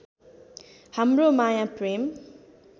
हाम्रो माया प्रेम